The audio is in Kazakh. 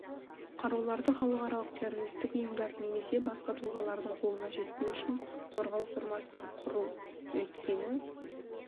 қаруларды халық аралық террористік ұйымдар немесе басқа тұлғалардың қолына жетпеу үшін қорғау формасын құру өйткені